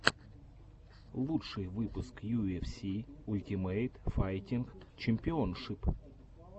лучший выпуск ю эф си ультимейт файтинг чемпионшип